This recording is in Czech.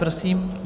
Prosím.